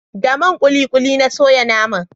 Da man kulikuli na soya naman